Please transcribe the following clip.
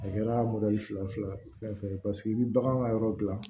A kɛra fila fila fɛn fɛn ye paseke i bi bagan ka yɔrɔ gilan